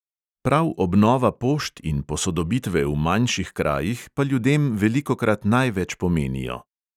Prav obnova pošt in posodobitve v manjših krajih pa ljudem velikokrat največ pomenijo.